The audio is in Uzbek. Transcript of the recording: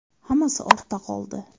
Hammasi ortda qoldi.